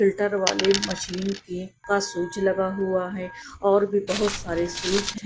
filter वाली मशीन के का स्विच लगा हुआ है और भी बहोत सारे स्विच --